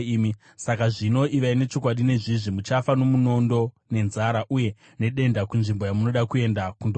Saka zvino, ivai nechokwadi nezvizvi: Muchafa nomunondo, nenzara, uye nedenda kunzvimbo yamunoda kuenda kundogara.”